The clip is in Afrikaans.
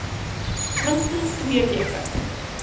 minstens twee weke